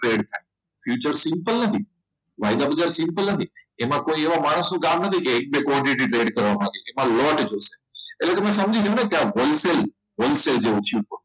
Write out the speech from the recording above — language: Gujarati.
future simple નથી વાયદા બધા simple નથી એમાં કોઈ માણસો કામ નથી કે એક બે quantity trade કરવા માટે એમાં long જોઈએ એટલે તમે સમજી જાવ ને ત્યાં whole sale જેવું થયું